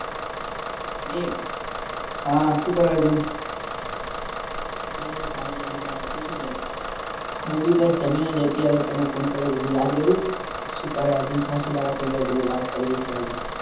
એક હા શું કરે અર્જુન બસ હાલ જમીને આયો તુ શું કરે હું બી બસ અત્યારે જમીને તને યાદ કર્યો યાદ કરું શું કરે અર્જુન ખાસા દાડા થઈ ગયા મે કીધું વાત કરવી છે આજે